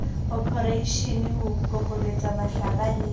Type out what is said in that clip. oporeishene ho kokobetsa mahlaba le